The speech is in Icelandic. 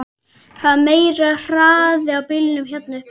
Það er meiri hraði á bílunum hér uppi.